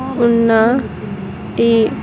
ఉన్నా-- టి.